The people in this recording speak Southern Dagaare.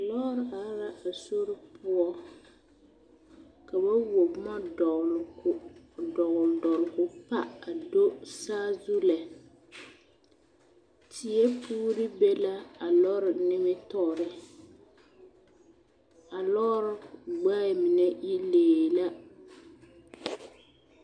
Lɔɔre are la a sori poɔ ka ba wuo boma dɔgloo dɔgle dɔgle ko pa a do saazu eŋɛ teɛ puuri be la a lɔre nimitoore a lɔɔre gbɛɛ mine yi lee la.